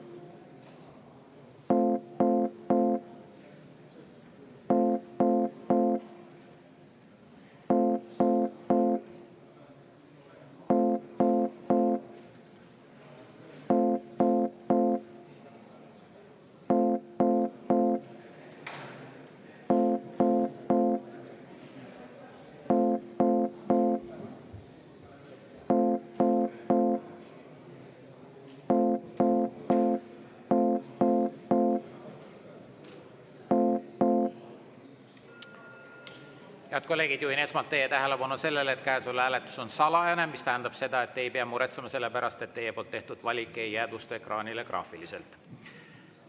Head kolleegid, juhin esmalt teie tähelepanu sellele, et käesolev hääletus on salajane, mis tähendab seda, et te ei pea muretsema selle pärast, et teie poolt tehtud valik ei jäädvustu ekraanile graafiliselt.